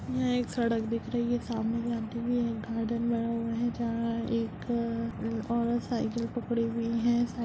यहाँ एक सड़क दिख रही है सामने एक आंटी भी हैं गार्डन बना हुआ है जहाँ एक अ-अ-अ औरत साइकिल पकड़ी हुई हैं साइकिल --